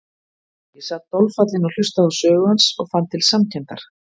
Ég sat dolfallinn og hlustaði á sögu hans og fann til samkenndar.